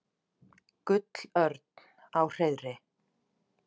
Gullörn á hreiðri.